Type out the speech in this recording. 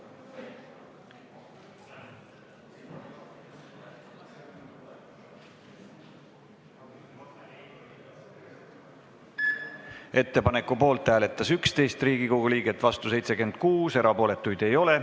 Hääletustulemused Ettepaneku poolt hääletas 11 Riigikogu liiget, vastu oli 76, erapooletuid ei ole.